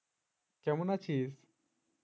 কেমন আছিস